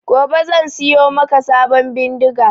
Gobe zan siyo maka sabon bindiga